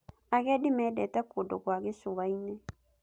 Agendi mendete kũndũ kwa gĩcũa-inĩ.